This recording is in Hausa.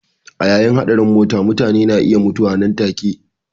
A yayin hatsarin mota mutane na iya mutuwa nan take.